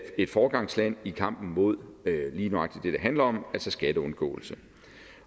et foregangsland i kampen mod lige nøjagtig det det handler om altså skatteundgåelse